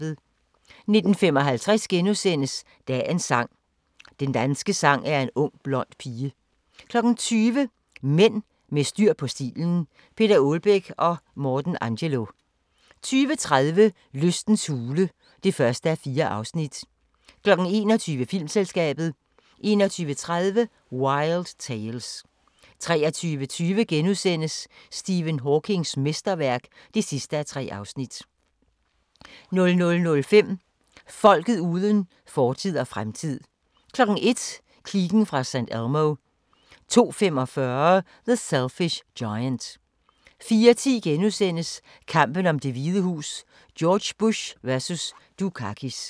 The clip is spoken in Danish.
19:55: Dagens sang: Den danske sang er en ung blond pige * 20:00: Mænd med styr på stilen - Peter Aalbæk & Morten Angelo 20:30: Lystens hule (1:4) 21:00: Filmselskabet 21:30: Wild Tales 23:20: Stephen Hawkings mesterværk (3:3)* 00:05: Folket uden fortid og fremtid 01:00: Kliken fra St. Elmo 02:45: The Selfish Giant 04:10: Kampen om Det Hvide Hus: George Bush vs. Dukakis *